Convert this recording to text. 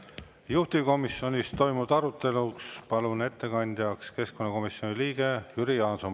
Juhtivkomisjonis toimunud arutelu palun ette kandma keskkonnakomisjoni liikme Jüri Jaansoni.